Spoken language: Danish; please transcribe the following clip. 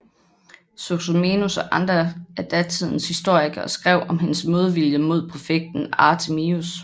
Sozomenos og andre af datidens historikere skrev om hendes modvilje mod præfekten Anthemius